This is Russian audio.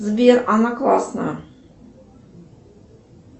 сбер она классная